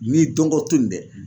N'i dɔngɔ to in dɛ